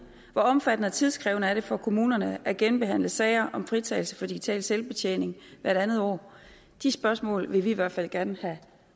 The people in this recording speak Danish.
hvor omfattende og tidkrævende er det for kommunerne at genbehandle sager om fritagelse for digital selvbetjening hvert andet år de spørgsmål vil vi i hvert fald gerne have